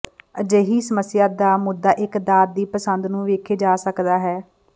ਅਜਿਹੀ ਸਮੱਸਿਆ ਦਾ ਮੁੱਦਾ ਇੱਕ ਦਾਤ ਦੀ ਪਸੰਦ ਨੂੰ ਵੇਖੇ ਜਾ ਸਕਦਾ ਹੈ